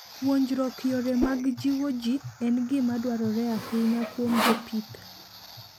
Puonjruok yore mag jiwo ji en gima dwarore ahinya kuom jopith.